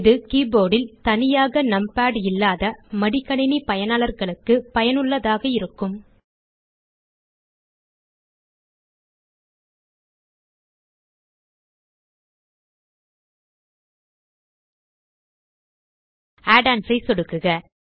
இது கீபோர்ட் ல் தனியாக நம்பாட் இல்லாத மடிக்கணினி பயனாளர்களுக்கு பயனுள்ளதாக இருக்கும் add ஒன்ஸ் ஐ சொடுக்குக